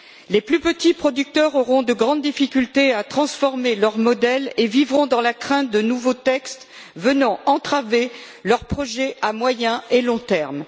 Les plus petits producteurs auront de grandes difficultés à transformer leurs modèles et vivront dans la crainte de nouveaux textes venant entraver leurs projets à moyen et long terme.